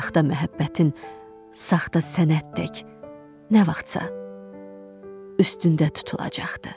Saxta məhəbbətin, saxta sənətdək nə vaxtsa üstündə tutulacaqdır.